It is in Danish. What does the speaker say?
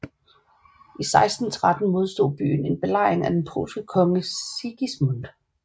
I 1613 modstod byen en belejring af den polske konge Sigismund